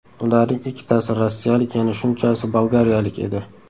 Ularning ikkitasi rossiyalik, yana shunchasi bolgariyalik edi.